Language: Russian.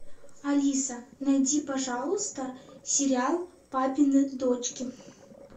алиса найди пожалуйста сериал папины дочки